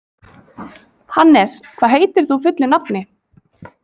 Hannes, hvað heitir þú fullu nafni?